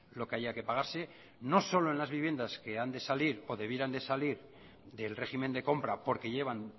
lo que haya que pagarse no solo en las viviendas que han de salir o debieran de salir del régimen de compra porque llevan